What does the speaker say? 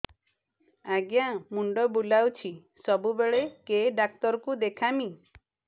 ଆଜ୍ଞା ମୁଣ୍ଡ ବୁଲାଉଛି ସବୁବେଳେ କେ ଡାକ୍ତର କୁ ଦେଖାମି